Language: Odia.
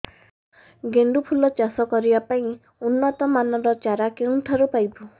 ଗେଣ୍ଡୁ ଫୁଲ ଚାଷ କରିବା ପାଇଁ ଉନ୍ନତ ମାନର ଚାରା କେଉଁଠାରୁ ପାଇବୁ